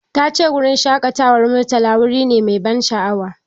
Tace wurin shaƙatawar Murtala wuri nemai ban sha'awa